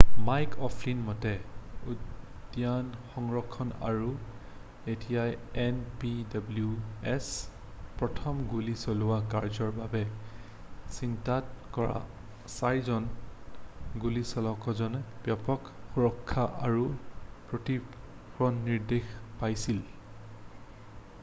Mike অʼ ফ্লীনৰ মতে উদ্যান সংৰক্ষণ আৰু ঐতিহ্যই এন.পি.ডব্লিউ.এছ. প্ৰথম গুলী চলোৱা কাৰ্যৰ বাবে চিনাক্ত কৰা ৪ জন গুলিচালককেইজনে ব্যাপক সুৰক্ষা আৰু প্ৰশিক্ষণৰ নিৰ্দেশ পাইছিল।